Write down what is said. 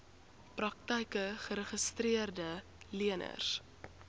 praktyke geregistreede leners